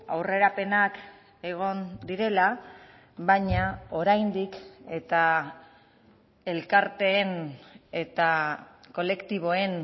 aurrerapenak egon direla baina oraindik eta elkarteen eta kolektiboen